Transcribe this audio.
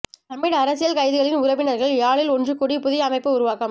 தமிழ் அரசியல் கைதிகளின் உறவினர்கள் யாழில் ஒன்றுகூடி புதிய அமைப்பு உருவாக்கம்